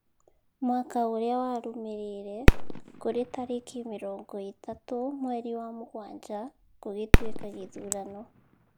Mwaka ũrĩa warũmĩrĩire, kũrĩ tareki mĩrongo ĩtatũ mweri wa mũgwanja , gũgĩtuĩka gĩthurano